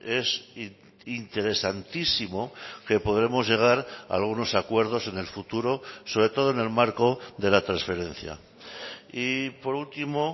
es interesantísimo que podremos llegar a algunos acuerdos en el futuro sobre todo en el marco de la transferencia y por último